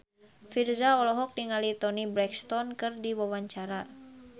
Virzha olohok ningali Toni Brexton keur diwawancara